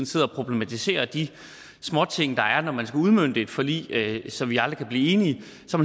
sidder og problematiserer de småting der er når man skal udmønte et forlig så vi aldrig kan blive enige